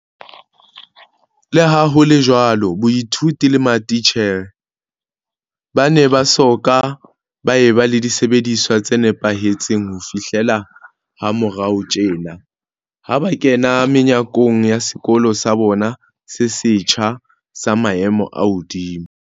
Leha ho le jwalo, baithuti le mati tjhere ba ne ba soka ba eba le disebediswa tse nepahe tseng ho fihlela ha morao tjena, ha ba kena menyakong ya sekolo sa bona se setjha, sa maemo a hodimo.